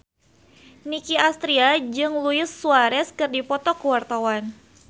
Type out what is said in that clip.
Nicky Astria jeung Luis Suarez keur dipoto ku wartawan